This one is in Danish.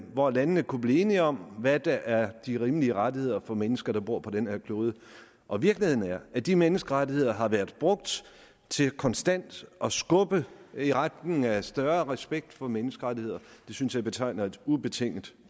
hvor landene kunne blive enige om hvad der er de rimelige rettigheder for mennesker der bor på den her klode og virkeligheden er at de menneskerettigheder har været brugt til konstant at skubbe i retning af større respekt for menneskerettigheder det synes jeg betegner et ubetinget